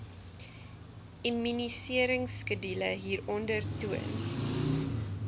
immuniseringskedule hieronder toon